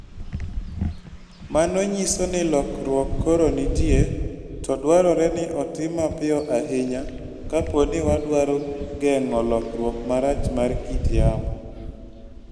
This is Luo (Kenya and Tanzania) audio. Mano nyiso ni lokruok koro nitie, to dwarore ni otim mapiyo ahinya kapo ni wadwaro geng'o lokruok marach mar kit yamo.